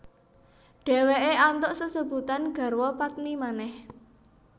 Dheweke antuk sesebutan garwa padmi manèh